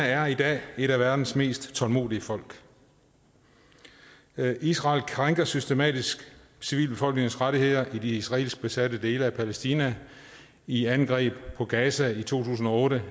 er i dag et af verdens mest tålmodige folk israel krænker systematisk civilbefolkningens rettigheder i de israelsk besatte dele af palæstina i angreb på gaza i to tusind og otte